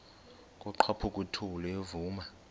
kwaqhaphuk uthuli evuma